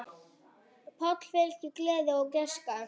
Páli fylgir gleði og gæska.